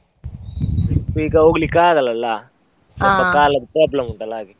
Trip ಈಗ ಹೋಗ್ಲಿಕ್ಕೆ ಆಗಲ್ಲ ಅಲ್ಲ, ಕಾಲದ್ದು problem ಉಂಟಲ್ಲ ಹಾಗೆ.